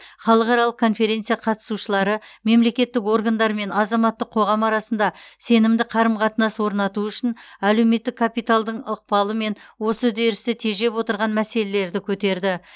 халықаралық конференция қатысушылары мемлекеттік органдар мен азаматтық қоғам арасында сенімді қарым қатынас орнату үшін әлуметтік капиталдың ықпалы мен осы үдерісті тежеп отырған мәселелерді көтерді